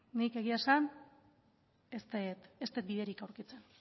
nik egia esan ez dut biderik aurkitzen